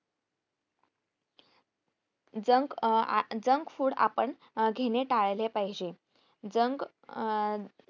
junk अं अं junk food आपण घेणे अं टाळले पाहिजे junk अं